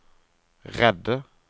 redde